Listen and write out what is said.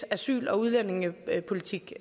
asyl og udlændingepolitik